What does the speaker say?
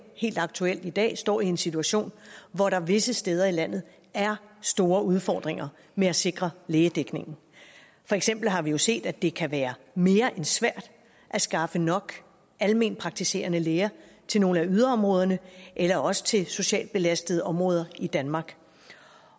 helt aktuelt i dag står i en situation hvor der visse steder i landet er store udfordringer med at sikre lægedækningen for eksempel har vi jo set at det kan være mere end svært at skaffe nok almenpraktiserende læger til nogle af yderområderne eller også til socialt belastede områder i danmark